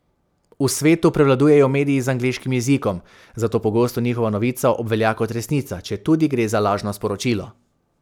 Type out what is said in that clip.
V svetu prevladujejo mediji z angleškim jezikom, zato pogosto njihova novica obvelja kot resnica, četudi gre za lažno sporočilo.